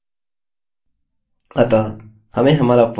मैं firstname को copy करूँगा और इसको यहाँ पेस्ट करूँगा और इसको lastname में बदल दूँगा